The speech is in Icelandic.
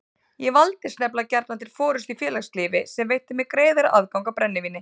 Ég valdist nefnilega gjarnan til forystu í félagslífi sem veitti mér greiðari aðgang að brennivíni.